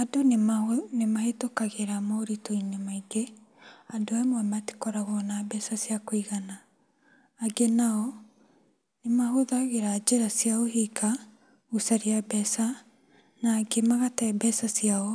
Andũ nĩmahĩtũkagĩra moritũ-inĩ maingĩ, andũ amwe matikoragwo na mbeca cia kũigana. Angĩ nao nĩmahũthagĩra njĩra cia ũhinga gũcaria mbeca na angĩ magate mbeca ciao